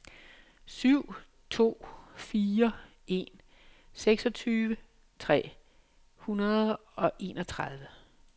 syv to fire en seksogtyve tre hundrede og enogtredive